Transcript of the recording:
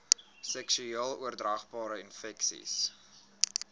seksueel oordraagbare infeksies